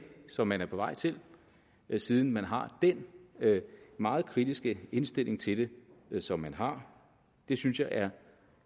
som man er på vej til siden man har den meget kritiske indstilling til det som man har det synes jeg er